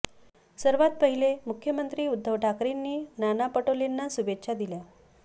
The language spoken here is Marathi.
सर्वात पहिले मुख्यमंत्री उद्धव ठाकरेंनी नाना पटोलेंना शुभेच्छा दिल्या